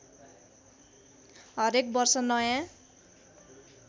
हरेक वर्ष नयाँ